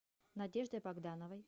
надеждой богдановой